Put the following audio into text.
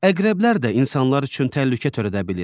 Əqrəblər də insanlar üçün təhlükə törədə bilir.